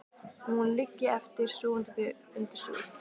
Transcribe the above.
Og hún liggi eftir, sofandi uppi undir súð.